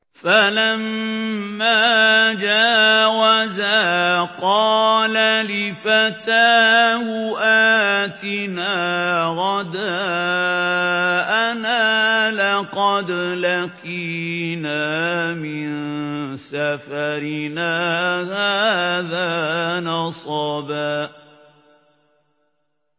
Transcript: فَلَمَّا جَاوَزَا قَالَ لِفَتَاهُ آتِنَا غَدَاءَنَا لَقَدْ لَقِينَا مِن سَفَرِنَا هَٰذَا نَصَبًا